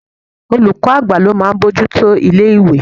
Olùkọ́ àgbà ní ó máa ń bojútó ilé ìwé.